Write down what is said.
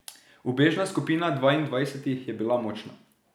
Ubežna skupina dvaindvajsetih je bila močna.